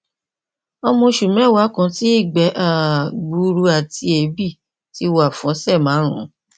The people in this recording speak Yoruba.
ọmọ oṣù mẹwàá kan tí ìgbẹ um gbuuru àti èébì ti wà fún ọsẹ márùnún